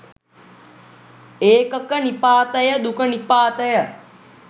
ඒකක නිපාතය දුක නිපාතය